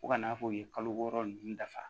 Fo ka n'a fɔ u ye kalo wɔɔrɔ ninnu dafa